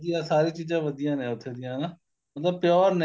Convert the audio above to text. ਵਧੀਆ ਸਾਰੀ ਚੀਜ਼ਾਂ ਵਧੀਆ ਨੇ ਉੱਥੇ ਦੀਆਂ ਹਨਾ ਮਤਲਬ pure ਨੇ